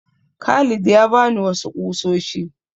Khalid ya ba ni wasu ƙusoshi.